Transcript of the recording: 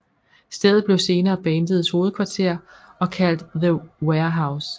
Stedet blev senere bandets hovedkvarter og kaldt The Warehouse